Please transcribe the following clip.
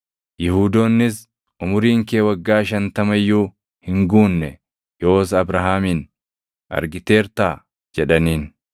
Yihuudoonnis, “Umuriin kee waggaa shantama iyyuu hin guunne; yoos Abrahaamin argiteertaa?” jedhaniin.